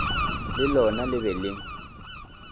le lona le be le